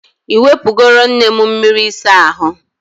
I nwepugoro nne m miri isa ahu?